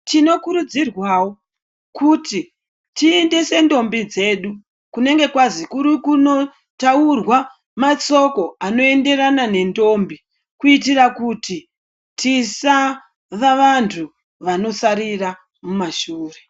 Tinokurudzirwawo kuti tiendese ndombi dzedu kunonga kwanzi kuri kundotaurwa mashoko anoenderana nendombi kuitira kuti tisava vantu vanosarira kumashure.